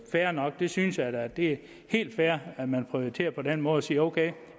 fair nok jeg synes da det er helt fair at man prioriterer på den måde og siger ok